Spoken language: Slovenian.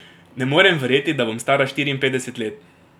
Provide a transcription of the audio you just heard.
Ne morem verjeti, da bom stara štiriinpetdeset let.